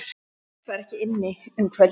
Björn var ekki inni um kvöldið.